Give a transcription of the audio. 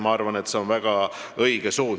Ma arvan, et see on väga õige suund.